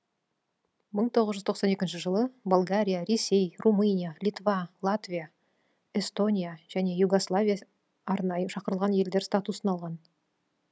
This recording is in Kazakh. мың тоғыз жүз тоқсан екінші жылы болгария ресей румыния литва латвия эстония и югославия арнайы шақырылған елдер статусын алған